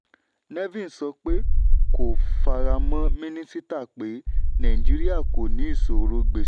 nevin sọ pé kò faramọ́ mínísítà pé nàìjííríà kò ní ìṣòro gbèsè.